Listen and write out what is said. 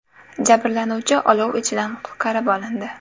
Jabrlanuvchi olov ichidan qutqarib olindi.